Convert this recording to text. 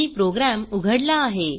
मी program उघडला आहे